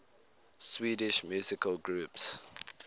swedish musical groups